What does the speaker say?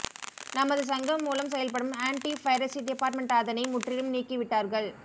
நமது சங்கம் மூலம் செயல்படும் ஆன்டி பைரசி டிபார்ட்மெண்ட் அதனை முற்றிலும் நீக்கிவிட்டார்கள்